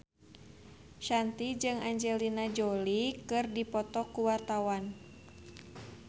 Shanti jeung Angelina Jolie keur dipoto ku wartawan